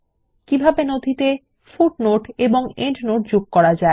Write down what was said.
কিভাবে নথিতে পাদটীকা এবং প্রান্তটীকা যোগ করা যায়